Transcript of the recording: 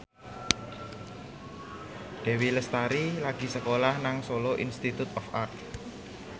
Dewi Lestari lagi sekolah nang Solo Institute of Art